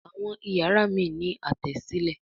Àwọn iyàrá míràn ní Àtẹ́sílẹ̀